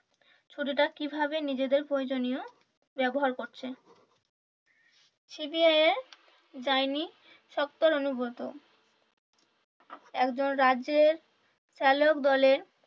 ছুটিটা কিভাবে নিজেদের প্রয়োজনীয় ব্যবহার করছে। সিবিআই এ যায়নি শক্তর অনুব্রত। একজন রাজ্যের চালক বলেন,